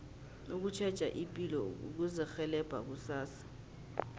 ukutjheja ipilo kuzirhelebha kusasa